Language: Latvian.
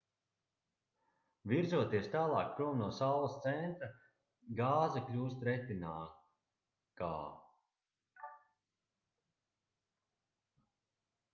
virzoties tālāk prom no saules centra gāze kļūst retinākā